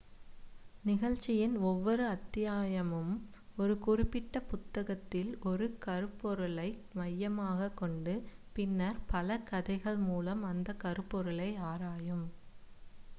நிகழ்ச்சியின் ஒவ்வொரு அத்தியாயமும் ஒரு குறிப்பிட்ட புத்தகத்தில் ஒரு கருப்பொருளை மையமாகக் கொண்டு பின்னர் பல கதைகள் மூலம் அந்த கருப்பொருளை ஆராயும்